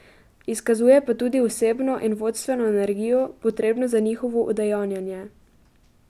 Izkazuje pa tudi osebno in vodstveno energijo, potrebno za njihovo udejanjanje.